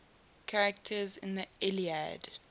characters in the iliad